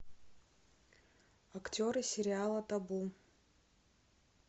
актеры сериала табу